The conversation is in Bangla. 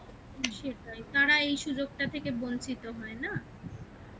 সেটাই. তারা এই সুযোগটা থেকে বঞ্চিত হয় না